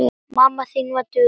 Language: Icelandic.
Mamma mín var dugleg.